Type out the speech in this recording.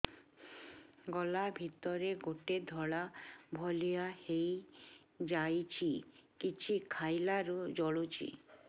ଗଳା ଭିତରେ ଗୋଟେ ଧଳା ଭଳିଆ ହେଇ ଯାଇଛି କିଛି ଖାଇଲାରୁ ଜଳୁଛି